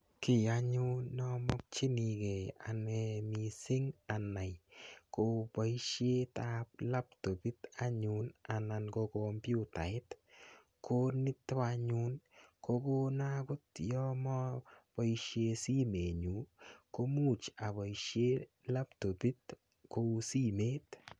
Ki anyun ne amakchinigei ane missing' anai ko poishet ap laptopit anan ko kompyutait. Ko nitok anyun ko kona ya maapaishe simetnyu ko much apoishe laptopit.